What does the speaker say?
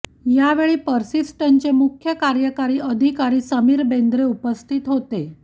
यावेळी पर्सिस्टंटचे मुख्य कार्यकारी अधिकारी समीर बेंद्रे उपस्थित होते